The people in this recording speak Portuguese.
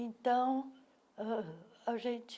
Então, ah a gente...